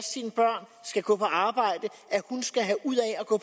sine børn skal gå på arbejde skal have ud